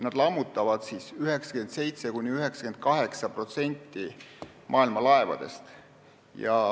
Nad lammutavad 97%–98% maailma laevadest.